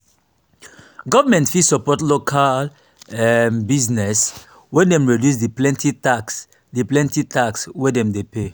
government fit support local um business when dem reduce di plenty tax di plenty tax wey dem de pay